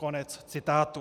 Konec citátu.